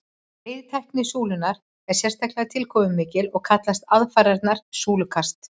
veiðitækni súlunnar er sérstaklega tilkomumikil og kallast aðfarirnar súlukast